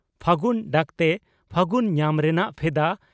ᱯᱷᱟᱹᱜᱩᱱ ᱰᱟᱠᱛᱮ ᱯᱷᱟᱹᱜᱩᱱ ᱧᱟᱢ ᱨᱮᱱᱟᱜ ᱵᱷᱮᱫᱟ